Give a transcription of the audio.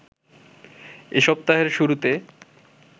এ সপ্তাহের শুরুতে